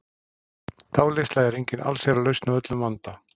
Dáleiðsla er engin allsherjarlausn á öllum vanda.